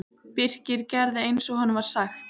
Birkir gerði eins og honum var sagt.